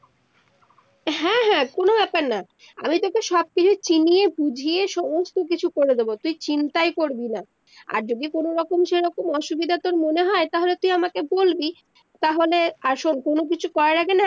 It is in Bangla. কোনো বেপার না আমি তকে সব কিছু চিনিয়ে বুঝিয়ে সমস্ত কিছু করে দেবো তুই চিন্তাই করবিনা আর যদি কোনো রকম সেরকম অসুবিধা তর মনে হয় তাহলে তুই আমাকে বলবি তাহলে আর শুন কোনো কিছু করার আগে না